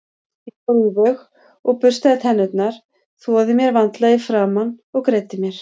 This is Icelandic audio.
Ég fór í þau og burstaði tennurnar, þvoði mér vandlega í framan og greiddi mér.